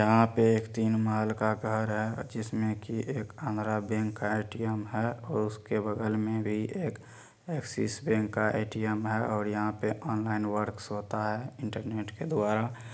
यहां पे तीन महल का घर है जिसमें की एक आंध्रा बैंक का एटीएम है उसके बगल में बी एक एक्सेस बैक का एटीएम है। यहां पे ऑनलाइन वर्क्स होता है इंटरनेट के द्वारा।